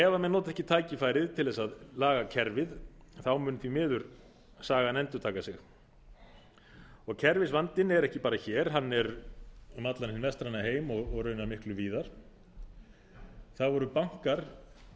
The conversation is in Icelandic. ef menn nota ekki tækifærið til að laga kerfið mun því miður sagan endurtaka sig kerfisvandinn er ekki bara hér hann er um allan hinn vestræna heim og raunar miklu víðar þá eru bankar